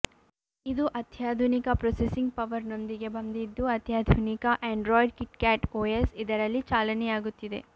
ಇದು ಅತ್ಯಾಧುನಿಕ ಪ್ರೊಸೆಸಿಂಗ್ ಪವರ್ನೊಂದಿಗೆ ಬಂದಿದ್ದು ಅತ್ಯಾಧುನಿಕ ಆಂಡ್ರಾಯ್ಡ್ ಕಿಟ್ಕ್ಯಾಟ್ ಓಎಸ್ ಇದರಲ್ಲಿ ಚಾಲನೆಯಾಗುತ್ತಿದೆ